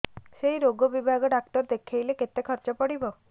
ସେଇ ରୋଗ ବିଭାଗ ଡ଼ାକ୍ତର ଦେଖେଇଲେ କେତେ ଖର୍ଚ୍ଚ ପଡିବ